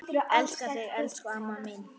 Elska þig, elsku amma mín.